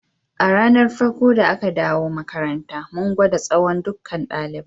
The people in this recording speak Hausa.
A ranan farko da aka dawo makaranta, mun gwada tsawon ɗukkan dalibai.